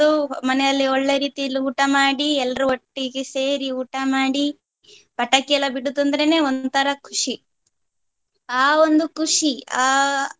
ಮನೆಯಲ್ಲಿ ಒಳ್ಳೆ ರೀತಿಲಿ ಊಟ ಮಾಡಿ ಎಲ್ರು ಒಟ್ಟಿಗೆ ಸೇರಿ ಊಟ ಮಾಡಿ ಪಟಾಕಿ ಎಲ್ಲ ಬಿಡುದಂದ್ರೆನೆ ಒಂಥರಾ ಖುಷಿ. ಆ ಒಂದು ಖುಷಿ ಅಹ್.